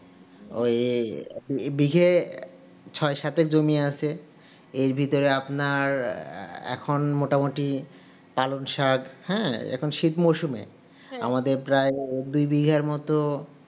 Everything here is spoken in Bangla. ও এই বিঘে ছয় সাতের জমি আছে এর ভিতরে আপনার এখন মোটামুটি পালং শাক হ্যাঁ এখন শীত মরসুমে আমাদের প্রায় ই দুই বিঘার ম